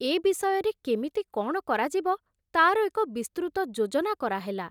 ଏ ବିଷୟରେ କେମିତି କଣ କରାଯିବ ତାର ଏକ ବିସ୍ତୃତ ଯୋଜନା କରାହେଲା।